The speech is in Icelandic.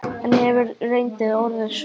En hefur reyndin orðið svo?